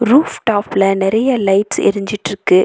Roof டாப்ல நறைய lights எறிஞ்சிட்ருக்கு.